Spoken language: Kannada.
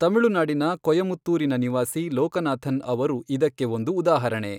ತಮಿಳುನಾಡಿನ ಕೊಯಮತ್ತೂರಿನ ನಿವಾಸಿ ಲೋಕನಾಥನ್ ಅವರು ಇದಕ್ಕೆ ಒಂದು ಉದಾಹರಣೆ.